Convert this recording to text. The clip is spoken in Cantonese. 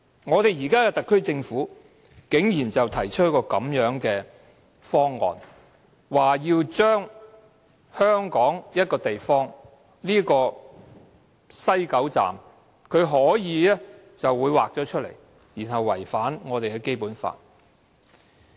可是，特區政府現在竟然提出這樣的一個方案，要在香港某一地帶即西九龍站劃出一個地方，以便在該處作出違反《基本法》的安排。